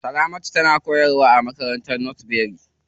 Salamatu na koyarwa a makarantar northbury.